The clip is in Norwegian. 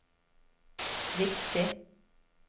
viktig